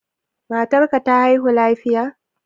Matar ka ta haihu lafiya?